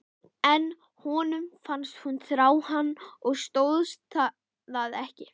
En honum fannst hún þrá hann og stóðst það ekki.